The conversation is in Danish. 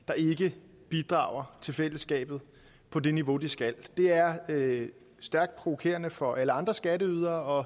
der ikke bidrager til fællesskabet på det niveau de skal det er stærkt provokerende for alle andre skatteydere